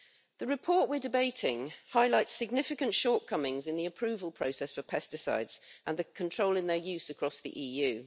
The report we are debating highlights significant shortcomings in the approval process for pesticides and the control in their use across the EU.